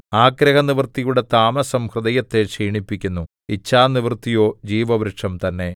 ആഗ്രഹനിവൃത്തിയുടെ താമസം ഹൃദയത്തെ ക്ഷീണിപ്പിക്കുന്നു ഇച്ഛാനിവൃത്തിയോ ജീവവൃക്ഷം തന്നെ